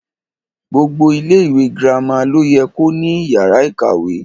Gbogbo ilẹ ìwé girama lo yẹ ko ní yàrá ìkàwé.